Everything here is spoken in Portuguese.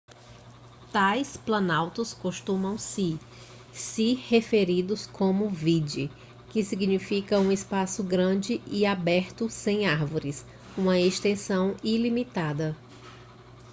tais planaltos costumam ser se referidos como vidde que significa um espaço grande e aberto sem árvores uma extensão ilimitada